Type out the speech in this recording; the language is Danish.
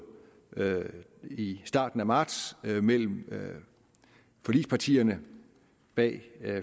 i starten af marts mellem forligspartierne bag